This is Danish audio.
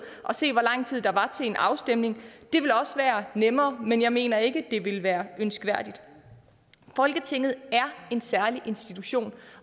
og se hvor lang tid der var til en afstemning det ville også være nemmere men jeg mener ikke at det ville være ønskværdigt folketinget er en særlig institution